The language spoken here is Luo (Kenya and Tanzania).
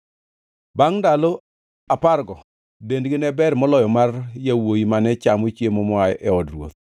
Bangʼ ndalo apargo ndendgi ne ber moloyo mar yawuowi mane chamo chiemo moa e od ruoth.